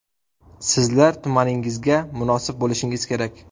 Sizlar tumaningizga munosib bo‘lishingiz kerak.